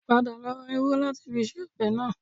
Padà lọ ra irú láti fi se ọbẹ̀ náà